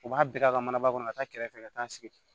U b'a bɛɛ ka manaba kɔnɔ ka taa kɛrɛfɛ ka taa sigi